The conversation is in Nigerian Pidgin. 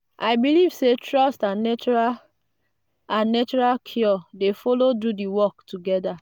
i believe say trust and natural and natural cure dey follow do the work together.